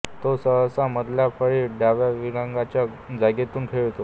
तो सहसा मधल्या फळीत डाव्या विंगराच्या जागेतून खेळतो